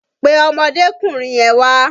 Pe ọmọdékùnrin yẹn wá!